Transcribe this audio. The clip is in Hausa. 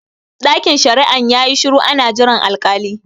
Ɗakin shari'an yayi shiru ana jiran al-kali